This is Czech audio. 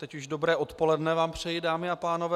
Teď už dobré odpoledne vám přeji, dámy a pánové.